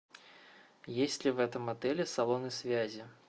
есть ли в этом отеле салоны связи